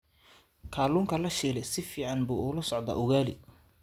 Kalluunka la shiilay si fiican buu ula socdaa ugali.